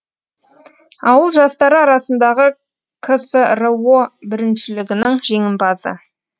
ауыл жастары арасындағы ксро біріншілігінің жеңімпазы